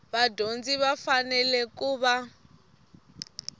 vadyondzi va fanele ku va